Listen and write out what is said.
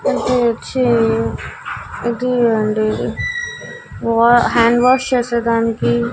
ఇది వచ్చి ఇది అండి వో హ్యాండ్ వాష్ చేసే దానికి --